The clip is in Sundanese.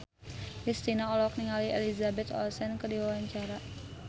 Kristina olohok ningali Elizabeth Olsen keur diwawancara